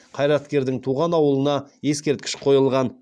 қайраткердің туған ауылына ескерткіші қойылған